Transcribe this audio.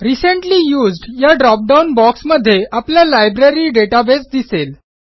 recently used या dropdown बॉक्समध्ये आपला लायब्ररी डेटाबेस दिसेल